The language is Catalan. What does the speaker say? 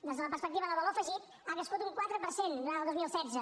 des de la perspectiva del valor afegit ha crescut un quatre per cent durant el dos mil setze